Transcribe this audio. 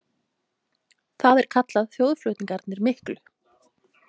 Það er kallað þjóðflutningarnir miklu.